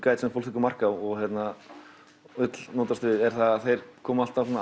eitthvað sem fólk tekur mark á og vill notast við er að þeir koma alltaf